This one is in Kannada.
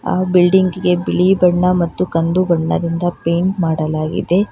ಆ ಬಿಲ್ಡಿಂಗ್ ಗೆ ಬಿಳಿ ಬಣ್ಣ ಮತ್ತು ಕಂದು ಬಣ್ಣದಿಂದ ಪೈಂಟ್ ಮಾಡಲಾಗಿದೆ.